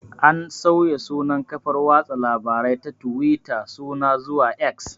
An sauya sunan kafar watsa labarai ta tuwita suna zuwa 'X'